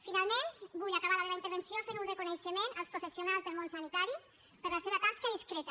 finalment vull acabar la meva intervenció fent un reconeixement als professionals del món sanitari per la seva tasca discreta